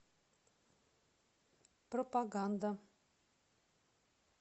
пропаганда